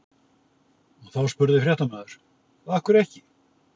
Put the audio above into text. Þá spurði fréttamaður: Af hverju ekki?